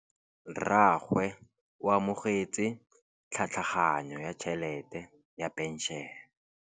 Rragwe o amogetse tlhatlhaganyô ya tšhelête ya phenšene.